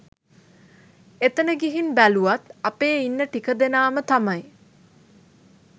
එතන ගිහින් බැලුවත් අපේ ඉන්න ටික දෙනාම තමයි